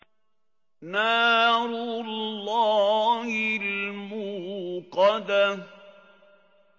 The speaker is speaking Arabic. نَارُ اللَّهِ الْمُوقَدَةُ